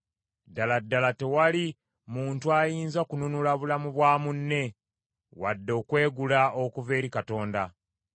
Ddala ddala, tewali muntu ayinza kununula bulamu bwa munne, wadde okwegula okuva eri Katonda.